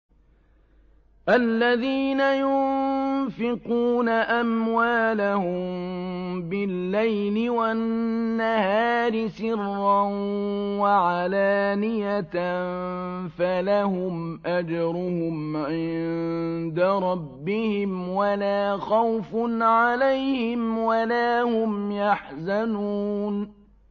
الَّذِينَ يُنفِقُونَ أَمْوَالَهُم بِاللَّيْلِ وَالنَّهَارِ سِرًّا وَعَلَانِيَةً فَلَهُمْ أَجْرُهُمْ عِندَ رَبِّهِمْ وَلَا خَوْفٌ عَلَيْهِمْ وَلَا هُمْ يَحْزَنُونَ